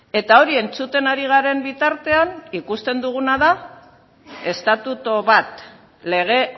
eta hori entzuten ari garen bitartean ikusten duguna da estatutu bat lege